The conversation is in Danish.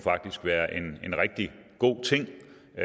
være en rigtig god ting